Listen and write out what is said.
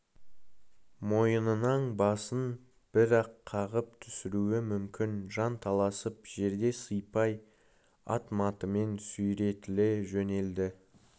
мойынынан басын бір-ақ қағып түсіруі мүмкін жанталасып жерді сыйпай ат-матымен сүйретіле жөнелді